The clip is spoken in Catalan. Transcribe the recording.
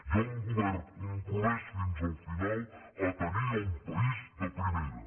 hi ha un govern compromès fins al final a tenir un país de primera